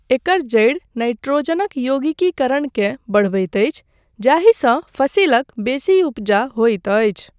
एकर जड़ि नाइट्रोजनक यौगीकीकरणकेँ बढ़बैत अछि जाहिसँ फसिलक बेसी उपजा होइत अछि।